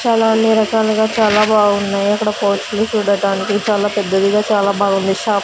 చాలా అన్ని రకాలుగా చాలా బాగున్నాయి అక్కడ చూడటానికి చాలా పెద్దదిగా చాలా బాగుంది షాప్ --